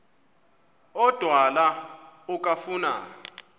odwa la okafuna